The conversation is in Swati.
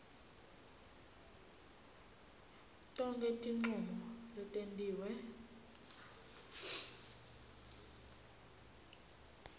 tonkhe tincomo letentiwe